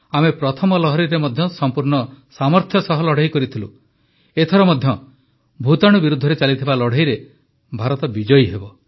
ଆମେ ପ୍ରଥମ ଲହରୀରେ ମଧ୍ୟ ସଂପୂର୍ଣ୍ଣ ସାମର୍ଥ୍ୟ ସହ ଲଢ଼େଇ ଲଢ଼ିଥିଲୁ ଏଥର ମଧ୍ୟ ଭୂତାଣୁ ବିରୋଧରେ ଚାଲିଥିବା ଲଢ଼େଇରେ ଭାରତ ବିଜୟୀ ହେବ